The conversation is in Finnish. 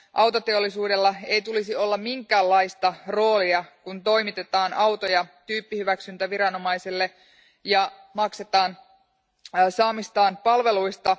Autoteollisuudella ei tulisi olla minkäänlaista roolia, kun toimitetaan autoja tyyppihyväksyntäviranomaisille ja maksetaan saaduista palveluista.